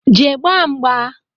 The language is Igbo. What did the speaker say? Jee gbaa mgba!